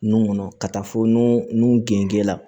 Nun kɔnɔ ka taa fɔ nun gengen la